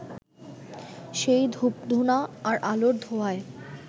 সেই ধূপধূনা আর আলোর ধোঁয়ায়